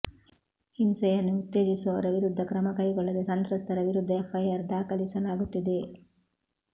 ಹಿಂಸೆಯನ್ನು ಉತ್ತೇಜಿಸುವವರ ವಿರುದ್ಧ ಕ್ರಮ ಕೈಗೊಳ್ಳದೇ ಸಂತ್ರಸ್ತರ ವಿರುದ್ಧ ಎಫ್ ಐ ಆರ್ ದಾಖಲಿಸಲಾಗುತ್ತಿದೆ